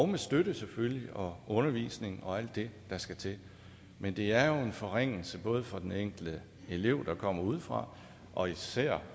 med støtte og undervisning og alt det der skal til men det er jo en forringelse både for den enkelte elev der kommer udefra og især